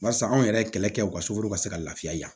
Barisa anw yɛrɛ kɛlɛ kɛ u ka soforo ka se ka lafiya yan